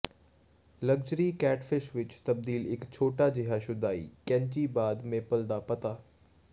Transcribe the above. luxury catfish ਵਿੱਚ ਤਬਦੀਲ ਇੱਕ ਛੋਟਾ ਜਿਹਾ ਸੁਧਾਈ ਕੈਚੀ ਬਾਅਦ ਮੇਪਲ ਦਾ ਪੱਤਾ